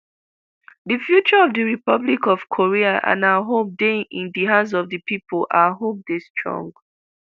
di future of di republic of korea and our hope dey in di hands of di pipo our hope dey strong